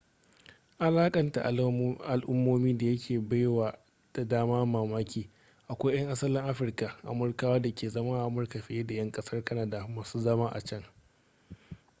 alakanta al'ummomi da yake bai wa da dama mamaki akwai 'yan asalin afirka amurkawa da ke zama a amurkar fiye da 'yan kasar canada masu zama a can